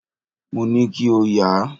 Mo ní kí o yà.